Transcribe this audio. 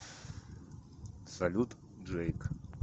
салют джейк